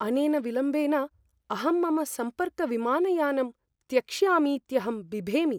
अनेन विलम्बेन अहं मम सम्पर्कविमानयानं त्यक्ष्यामीत्यहं बिभेमि।